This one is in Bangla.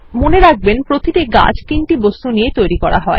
মনে রাখবেন প্রতিটি গাছ তিনটি বস্তু দিয়ে তৈরি করা হয়